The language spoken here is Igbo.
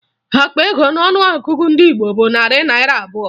Akpa ego n'ọnụọgụgụ ego ndị Igbo bụ narị naịra abụọ